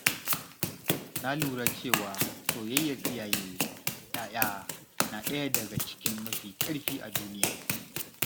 Na lura cewa soyayyar iyaye da ‘ya’ya na ɗaya daga cikin mafi ƙarfi a duniya.